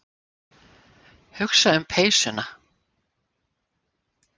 Hugsa um peysuna.